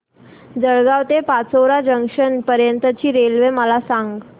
जळगाव ते पाचोरा जंक्शन पर्यंतची रेल्वे मला सांग